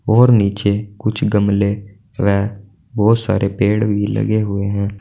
और नीचे कुछ गमले व बहुत सारे पेड़ भी लगे हुए हैं।